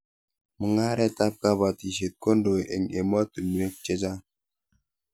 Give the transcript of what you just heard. Mung'aretab kabatishet kondoi eng emotunuek chechang